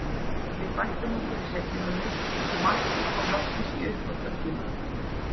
Við bættum okkur í seinni hálfleik og markið kom loksins í uppbótartíma.